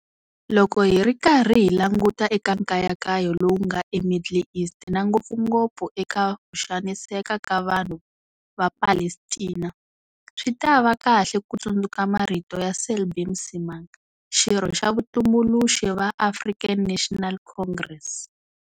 Loko hi ri karhi hi languta eka nkayakayo lowu nga eMiddle East na ngopfungopfu eka ku xaniseka ka vanhu va Palestina, swi ta va kahle ku tsundzuka marito ya Selby Msimang, xirho xa vatumbuluxi va African National Congress.